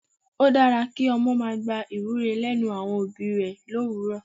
Ó dára kí ọmọ máa gba ìwúre lẹ́nu àwọn òbí rẹ l'òwúrò.